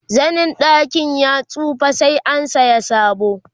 zanin gadon ya tsufa sai an saya sabo